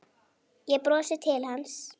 Ég brosi til hans.